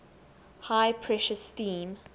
high pressure steam